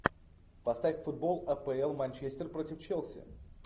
поставь футбол апл манчестер против челси